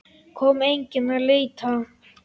Kom enginn að leita?